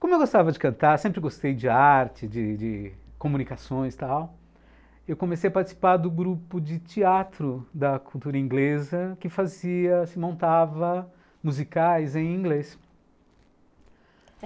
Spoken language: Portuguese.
Como eu gostava de cantar, sempre gostei de arte, de de comunicações e tal, eu comecei a participar do grupo de teatro da cultura inglesa que fazia, se montava, musicais em inglês.